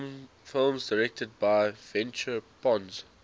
films directed by ventura pons